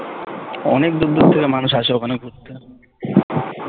অনেক দূর দূর থেকে মানুষ আসে ওখানে ঘুরতে